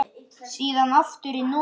Síðan aftur í Noregi.